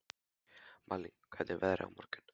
Malín, hvernig er veðrið á morgun?